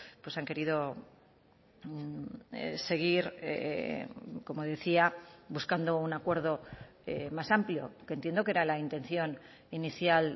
pues han querido seguir como decía buscando un acuerdo más amplio que entiendo que era la intención inicial